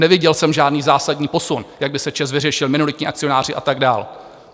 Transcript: Neviděl jsem žádný zásadní posun, jak by se ČEZ vyřešil, minoritní akcionáři a tak dál.